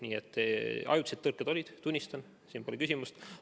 Nii et ajutised tõrked olid, tunnistan, siin pole küsimust.